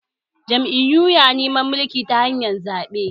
Jam’iyu na neman mulki ta hanyar zaɓe